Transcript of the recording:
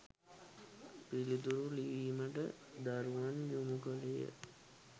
පිළිතුරු ලිවීමට දරුවන් යොමු කළේය